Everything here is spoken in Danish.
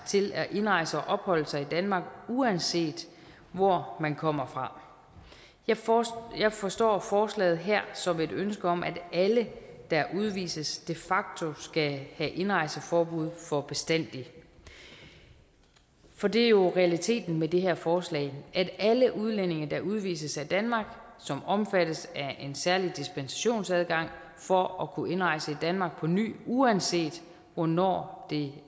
til at indrejse og opholde sig i danmark uanset hvor man kommer fra jeg forstår jeg forstår forslaget her som et ønske om at alle der udvises de facto skal have indrejseforbud for bestandig for det er jo realiteten med det her forslag alle udlændinge der udvises af danmark som omfattes af en særlig dispensationsadgang for at kunne indrejse i danmark på ny uanset hvornår det